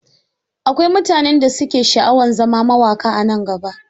Akwai mutanen da su ke sha'awan zama mawaƙa a nan gaba.